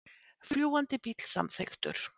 Fljúgandi bíll samþykktur